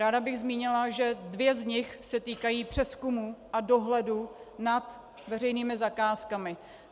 Ráda bych zmínila, že dvě z nich se týkají přezkumu a dohledu nad veřejnými zakázkami.